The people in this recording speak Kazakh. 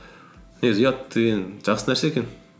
негізі ұят деген жақсы нәрсе екен